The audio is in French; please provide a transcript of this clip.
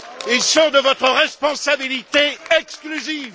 Ils sont de votre responsabilité exclusive.